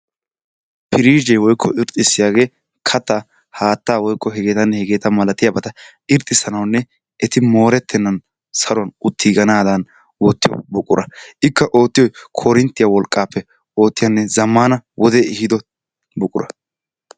Pirijee woykko irxxisiyaagee kattaa haattaa woykko hegetanne hegeeta malatiyaabata irxxisanawunne eti morettenan saruwaan uttiganadan oottiyaa buqura. Ikka oottiyoy korinttiyaa wolqqappe oottiyaa zammaana wode ehiido buqura.